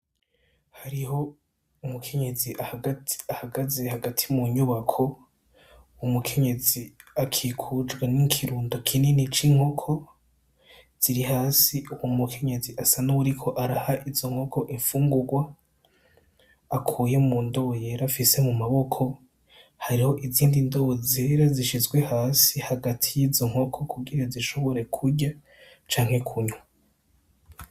Hariho umukenyezi gahagaze hagati mu nyubako uwu umukenyezi akikujwa n'ikirundo kinini c'inkoko ziri hasi uwu mukenyezi asa n'uburiko araha izo nkoko imfungurwa akuye mu ndoo yera afise mu mabokohri neho izindi ndobo zera zishizwe hasi hagati y'izo nkoko kugira zishobore kurya canke kunyu.